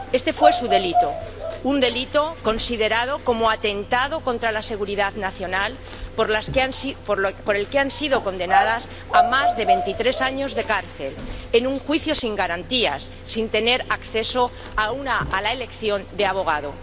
Este fue su delito, un delito considerado como atentado contra la seguridad nacional, por el que han sido condenadas a más de veintitrés años de cárcel, en un juicio sin garantías, sin tener acceso a la elección de abogado.